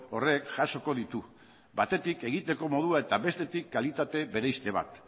horrek jasoko ditu batetik egiteko modua eta bestetik kalitate bereizte bat